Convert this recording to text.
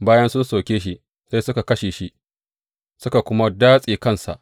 Bayan sun soke shi sai suka kashe shi, suka kuma datse kansa.